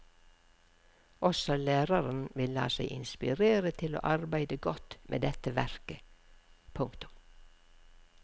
Også læreren vil la seg inspirere til å arbeidet godt med dette verket. punktum